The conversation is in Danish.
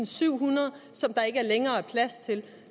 syvhundrede som der ikke længere er plads til